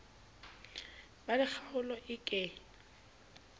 ba le kgaolo e ke